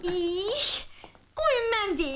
Eh, qoyun mən deyim.